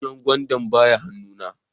Ganyen gwandan ba ya han'nu na.